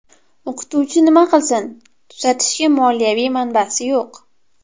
O‘qituvchi nima qilsin, tuzatishga moliyaviy manbasi yo‘q.